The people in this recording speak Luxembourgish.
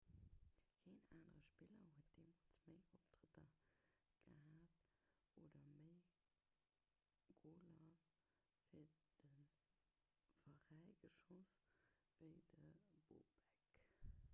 keen anere spiller huet jeemools méi optrëtter gehat oder méi goler fir de veräi geschoss ewéi de bobek